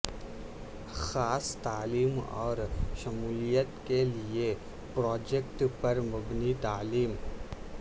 خاص تعلیم اور شمولیت کے لئے پراجیکٹ پر مبنی تعلیم